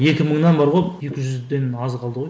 екі мыңнан бар ғой екі жүзден аз қалды ғой